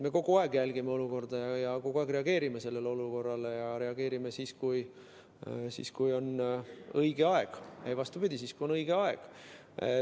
Me kogu aeg jälgime olukorda ja kogu aeg reageerime sellele olukorrale ja reageerime siis, kui on õige aeg.